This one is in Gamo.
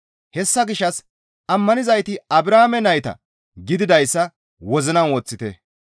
Hessa gishshas ammanizayti Abrahaame nayta gididayssa wozinan woththite.